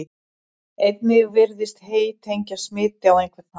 Einnig virðist hey tengjast smiti á einhvern hátt.